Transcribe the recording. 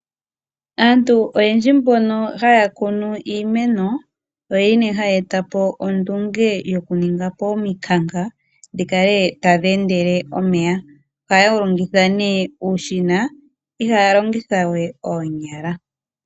Aantu oyendji mbono haya kunu iimeno oyo yene haya etapo ondunge yokuninga po ominkanka dhikale tadhi endele omeya. Ohaya longitha nee uushina ihaya longithawe oonyala.